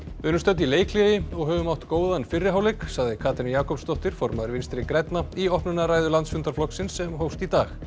við erum stödd í leikhléi og höfum átt góðan fyrri hálfleik sagði Katrín Jakobsdóttir formaður Vinstri grænna í opnunarræðu landsfundar flokksins sem hófst í dag